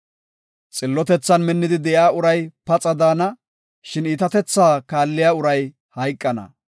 Xillotethan minnidi de7iya uray paxa de7ana; shin iitatethaa kaalliya uray hayqana.